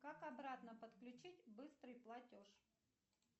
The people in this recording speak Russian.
как обратно подключить быстрый платеж